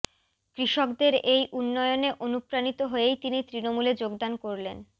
কৃষকদের এই উন্নয়নে অনুপ্রাণিত হয়েই তিনি তৃণমূলে যোগদান করলেন